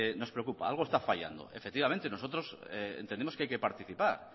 nos preocupa algo está fallando efectivamente nosotros entendemos que hay que participar